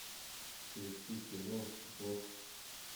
включи кино босх